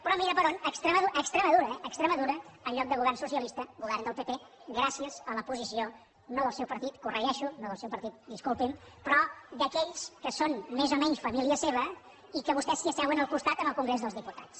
però mira per on a extremadura a extremadura eh en lloc de govern socialista govern del pp gràcies a la posició no del seu partit ho corregeixo no del seu partit disculpi’m però d’aquells que són més o menys família seva i que vostès s’hi asseuen al costat al congrés dels diputats